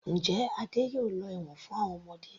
Njẹ́ Adé yóò lọ ẹ̀wọ̀n fún àwọn ọmọdé.